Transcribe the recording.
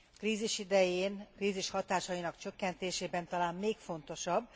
Krízis idején, a krízis hatásainak csökkentésében talán még fontosabb.